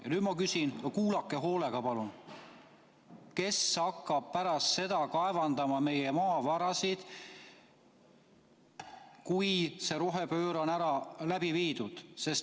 Ja nüüd ma küsin, kuulake hoolega, palun: kes hakkab kaevandama meie maavarasid pärast seda, kui see rohepööre on läbi viidud?